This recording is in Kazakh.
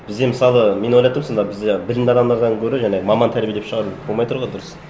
бізде мысалы мен ойлап тұрмын сонда бізде білімді адамдардан гөрі жаңа маман тәрбиелеп шығару болмай тұр ғой дұрыс